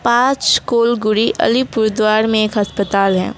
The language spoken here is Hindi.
आच कोलगुडी अलीपुर द्वार में एक अस्पताल है।